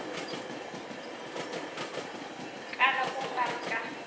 kala ku nga ri ka